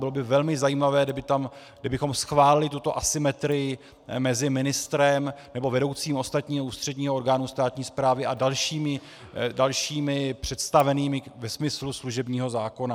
Bylo by velmi zajímavé, kdybychom schválili tuto asymetrii mezi ministrem nebo vedoucím ostatního ústředního orgánu státní správy a dalšími představenými ve smyslu služebního zákona.